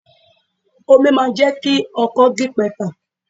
Omi máa jẹ́ kí ọkọ́ gípatà.